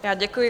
Já děkuji.